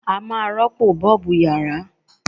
A máa rọ́pò Bọ́ọ̀bù yàrá.